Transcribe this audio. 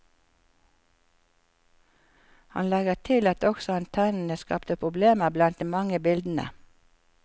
Han legger til at også antennene skapte problemer blant de mange bildene.